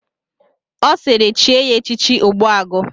Ọ sịịrị chie ya echichi Ogbuagụ!